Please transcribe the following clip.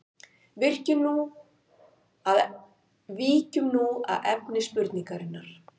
Víkjum nú að efni spurningarinnar.